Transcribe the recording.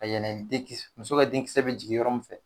Ka yɛlɛn den muso ka denkisɛ bɛ jigin yɔrɔ min fɛ